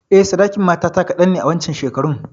Eh, sadakin matata kadan ne a wancan shekarun.